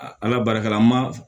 Ala barika la an ma